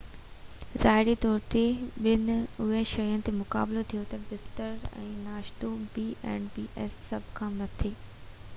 سڀ کان مٿي b&bs ظاهري طور تي ٻن اهم شين تي مقابلو ٿئي ٿي بستر ۽ ناشتو